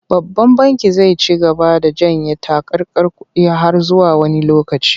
Babban bankin zai ci gaba da janye takarkar kuɗi har zuwa wani lokaci.